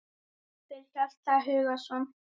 eftir Hjalta Hugason